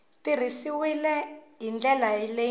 tirhisiwile hi ndlela yo enela